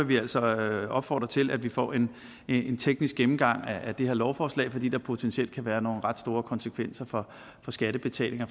vi altså opfordre til at vi får en teknisk gennemgang af det her lovforslag fordi der potentielt kan være nogle ret store konsekvenser for skattebetalinger